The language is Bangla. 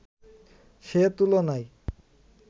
সে তুলনায়